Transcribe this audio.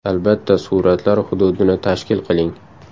Albatta suratlar hududini tashkil qiling!